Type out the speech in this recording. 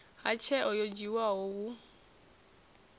ha tsheo yo dzhiwaho hu